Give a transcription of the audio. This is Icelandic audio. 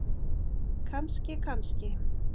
Kannski, kannski!